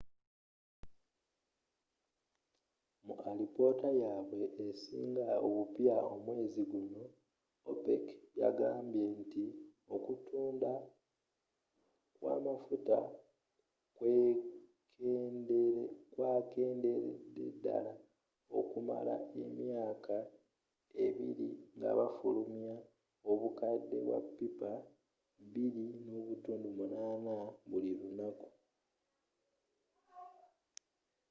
mu alipoota yabwe esinga obupya omwezi guno opec yagamba nti okutunda kw'amafuta kwakenderedde ddala okumala emyaka abbiri nga bafulumya obukadde bwa pippa 2.8 buli lunaku